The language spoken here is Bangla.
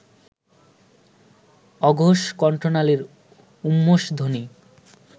অঘোষ কণ্ঠনালীয় ঊষ্মধ্বনি